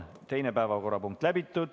Teine päevakorrapunkt on käsitletud.